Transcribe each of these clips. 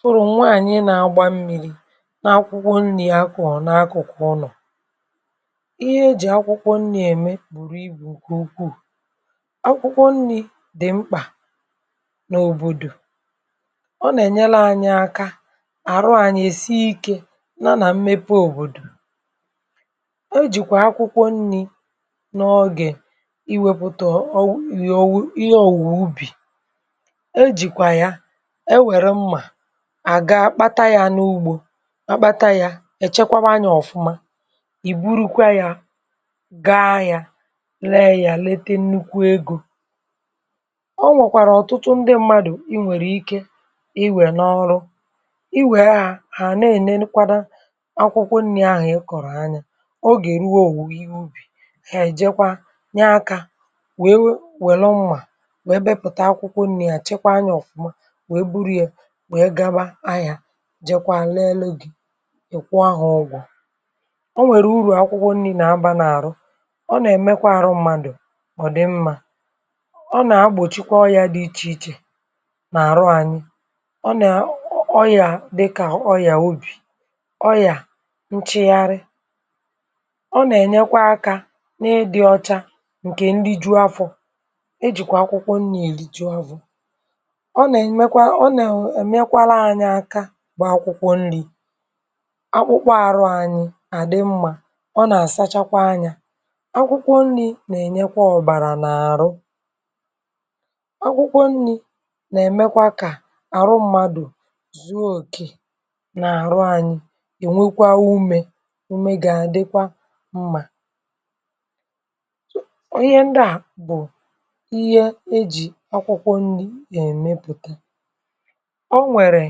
Sụrụ̀ nwaànyị nȧ-agbȧ mmi̇ri n’akwụkwọ nri̇ akụ̀ n’akụ̀kụ ụnọ̀. ihe e jì akwụkwọ nri̇ ème bùrù ibù ǹkè ukwuù. akwụkwọ nri̇ dị̀ mkpà n’òbòdò, ọ nà-ènyere anyị aka àrụ anyị èsi ike na nà mmepe òbòdò. e jìkwà akwụkwọ nri̇ n’ọgị̀ iwėpụ̀ta ihe òwùwò ubì, e jìkwà ya àga kpata ya n’ugbȯ kpata ya èchekwaba anyȧ ọ̀fụma ì burukwa yȧ gaa yȧ leghia lete nnukwu egȯ. ọ nwẹ̀kwàrà ọ̀tụtụ ndị mmadụ̀ i nwèrè ike i wèe n’ọrụ i wèe ahụ̀ hà na-enenukwado akwụkwọ nri̇ ahụ̀ ị kọ̀rọ̀ anya o gà-èruowù wù ihe ubì èjekwa nye akȧ wèe we wèlo nwà wèe bepùta akwụkwọ nri̇ à chekwa anyȧ ọ̀fụma jekwa lela dị̇ ị̀kwụ ahụ̇ ọgwụ̀. Ọ nwèrè urù akwụkwọ nri̇ na-aba n’àrụ, ọ nà-èmekwa àrụ mmadụ̀ mọ̀dụ mmȧ, ọ nà-agbòchikwa ọyȧ dị ichè ichè n’àrụ anyị ọ nà ọyà dịkà ọyà obì, ọyà nchịgharị. ọ nà-ènyekwa aka na-edo ọcha ǹkè nri juu afọ̇, e jìkwà akwụkwọ nnà èri ji̇ afọ̇, ọba emekwa, ọna enyekwarụ anyị aka bụ akwụkwọ nri̇ akpụkpụ arụ anyị àdị mmȧ, ọ nà-àsachakwa anyȧ, akwụkwọ nri̇ nà-ènyekwa ọ̀bàrà n’àrụ, akwụkwọ nri̇ nà-èmekwa kà àrụ mmadù zuokė nà-àrụ anyị ènwekwa umė ume gà-àdịkwa mmȧ. ihe ndià bù ihe e jì akwụkwọ nri̇ nà-èmepùta. ọnwere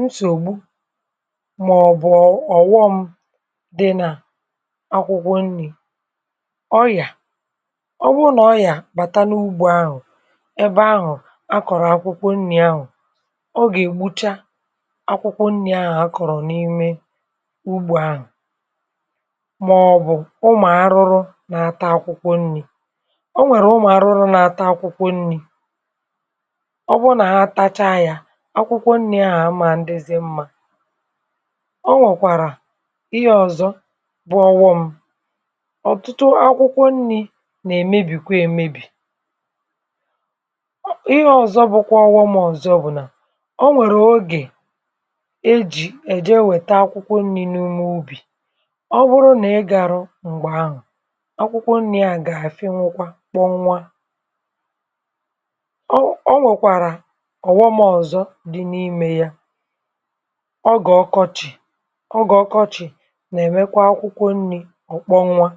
nsọgbụ, mà ọ̀ bụ̀ ọ̀ghọṁ di nà akwụkwọ nri̇. ọ yà ọ bụ nà ọ yà bàta n’ugbȯ ahụ̀ ebe ahụ̀ akọ̀rọ̀ akwụkwọ nri̇ ahụ̀, ọ gà-ègbucha akwụkwọ nri̇ ahụ̀ akọ̀rọ̀ n’ime ugbȯ ahụ̀ màọbụ̀ ụmụ̀ arụrụ nà-ata akwụkwọ nri̇. Ọ nwèrè ụmụ̀ arụrụ nà-ata akwụkwọ nri̇, ọ bụ nà atacha ya akwụkwọ nrị ahụ amandịzị mma. Ọ nwèkwàrà ihe ọ̀zọ bụ̀ ọghọ̇ṁ, ọ̀tụtụ akwụkwọ nri̇ nà-èmebìkwa èmebì, ihe ọ̀zọ bụkwa ọghọ̇ṁ mọ̀zọ bụ̀ nà, o nwèrè ogè e jì èje wèta akwụkwọ nri̇ n’ume ubì ọ bụrụ nà ị gàrọ m̀gbè ahụ̀ akwụkwọ nri̇ a gà-àfị nwụkwa kpọnwa. Ọ nwekwara ọghọm ọzọ dị nà ime yà, ọ gà ọkọchị̀, ọ gà ọkọchị̀ nà-èmekwa akwụkwọ nni̇ ọ̀kpọ nwa.